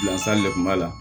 Bilasali de kun b'a la